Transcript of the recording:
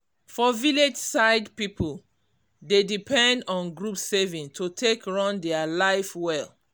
for village side people dey depend on group savings to take run their life well.